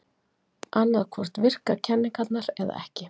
Annað hvort virka kenningarnar eða ekki.